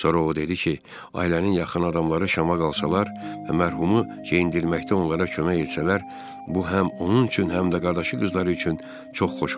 Sonra o dedi ki, ailənin yaxın adamları şama qalsalar və mərhumu geyindirməkdə onlara kömək etsələr, bu həm onun üçün, həm də qardaşı qızları üçün çox xoş olar.